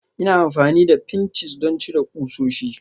Ina amfani da pinches don cire ƙusoshi